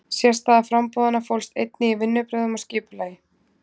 Sérstaða framboðanna fólst einnig í vinnubrögðum og skipulagi.